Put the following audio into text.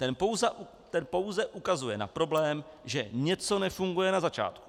Ten pouze ukazuje na problém, že něco nefunguje na začátku.